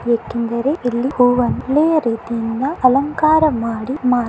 ಏಕೆಂದರೆ ಇಲ್ಲಿ ಹೂವನ್ನು ಒಳ್ಳೆಯ ರೀತಿಯಿಂದ ಅಲಂಕಾರ ಮಾಡಿ ಮಾರುತ್ತಾರೆ.